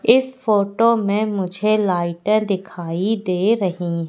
इस फोटो में मुझे लाइटर दिखाई दे रही--